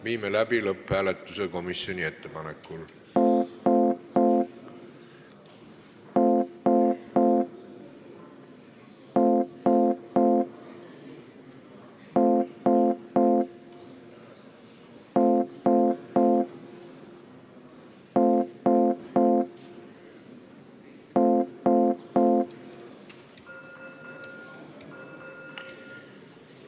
Viime komisjoni ettepanekul läbi lõpphääletuse.